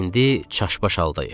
İndi çaş-baş aldayıq.